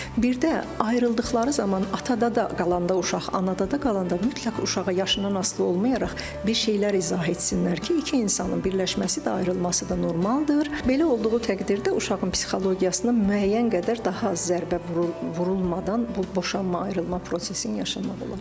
Birdə ayrıldıqları zaman atada da qalanda uşaq, anada da qalanda mütləq uşağa yaşından asılı olmayaraq bir şeylər izah etsinlər ki, iki insanın birləşməsi də ayrılması da normaldır, belə olduğu təqdirdə uşağın psixologiyasına müəyyən qədər daha az zərbə vurulmadan bu boşanma ayrılma prosesini yaşamaq olar.